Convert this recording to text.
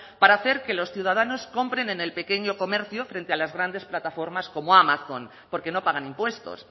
para hacer que los ciudadanos compren en el pequeño comercio frente a las grandes plataformas como amazon porque no pagan impuestos